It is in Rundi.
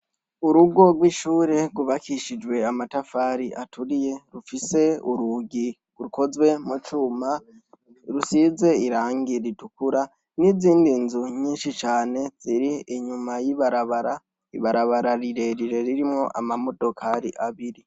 Urugo rw'ishure rwubakishijwe amatafari aturiye, rufise urugi rukozwe mu cuma rusize irangi ritukura n'izindi nzu nyinshi cane ziri inyuma y'ibarabara. Ibarabara rirerire ririmwo amamodokari abiri.